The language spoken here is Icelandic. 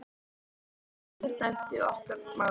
Það eitt getur dæmt í okkar málum.